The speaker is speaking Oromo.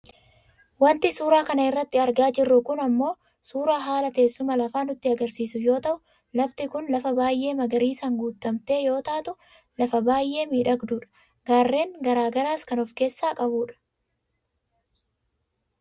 Wanti suuraa kana irratti argaa jirru kun ammoo suuraa haala teessuma lafaa nutti agarsiisu yoo ta'u lafti kun lafa baayyee magariisaan guuttamte yoo taatu lafa baayyee miidhagduudha. Gaarreen gara garaas kan of keessaa qabudha.